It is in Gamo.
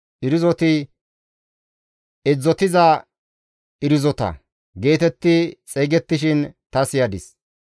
Irzoti, «Edzdzotiza irzota» geetetti xeygettishin ta siyadis.